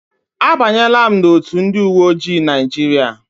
A banyela m n'otu ndị uwe ojii Naijiria.